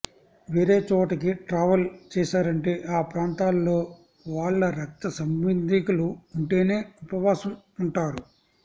వేరే చోటుకి ట్రావెల్ చేశారంటే ఆ ప్రాంతాల్లో వాళ్ల రక్తసంబంధీకులు ఉంటేనే ఉపవాసం ఉంటారు